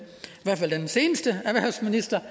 seneste erhvervsminister